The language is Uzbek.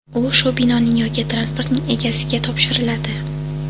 u shu binoning yoki transportning egasiga topshiriladi.